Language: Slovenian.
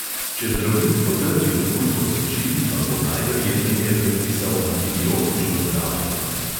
Če zdravnik potrdi okužbo sečil, vam bo najverjetneje predpisal antibiotično zdravljenje.